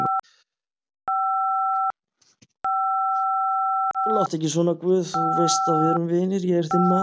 Láttu ekki svona guð, þú veist að við erum vinir, ég er þinn maður.